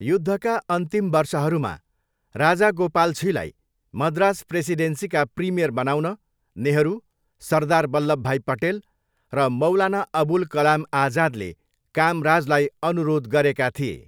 युद्धका अन्तिम वर्षहरूमा राजागोपालछीलाई मद्रास प्रेसिडेन्सीका प्रिमियर बनाउन नेहरू, सरदार वल्लभभाई पटेल र मौलाना अबुल कलाम आजादले कामराजलाई अनुरोध गरेका थिए।